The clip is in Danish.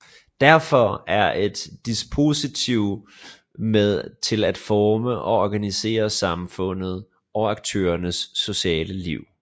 Derfor er et dispositiv med til at forme og organisere samfundet og aktørernes sociale liv